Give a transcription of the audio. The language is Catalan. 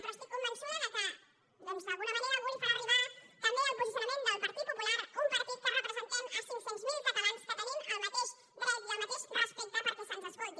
però estic convençuda que d’alguna manera algú li farà arribar també el posicionament del partit popular un partit que representem cinc cents miler catalans que tenim el mateix dret i el mateix respecte perquè se’ns escolti